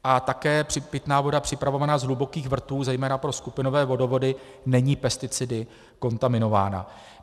A také pitná voda připravovaná z hlubokých vrtů, zejména pro skupinové vodovody, není pesticidy kontaminována.